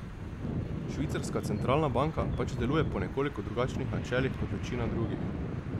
Švicarska centralna banka pač deluje po nekoliko drugačnih načelih kot večina drugih.